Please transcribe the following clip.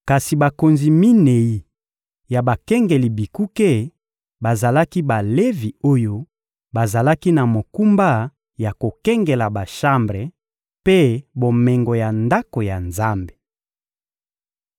Kasi bakonzi minei ya bakengeli bikuke bazalaki Balevi oyo bazalaki na mokumba ya kokengela bashambre mpe bomengo ya Ndako ya Nzambe.